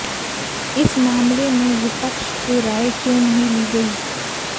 इस मामले में विपक्ष से राय क्यों नहीं ली गई